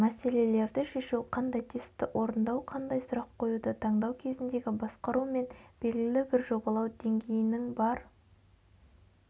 мәселелерді шешу қандай тестті орындау қандай сұрақ қоюды таңдау кезіндегі басқару мен белгілі бір жобалау деңгейінін бар